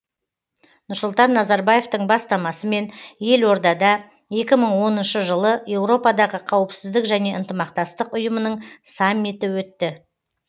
нұрсұлтан назарбаевтың бастамасымен елордада екі мың оныншы жылы еуропадағы қауіпсіздік және ынтымақтастық ұйымының саммиті өтті